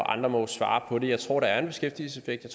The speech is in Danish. andre må jo svare på det jeg tror at der er en beskæftigelseseffekt og